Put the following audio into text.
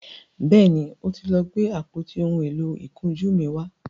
béèni o tí lọ Gbe àpótí òún èló ìkunjú mí wá.